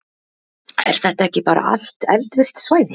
Er þetta ekki bara allt eldvirkt svæði?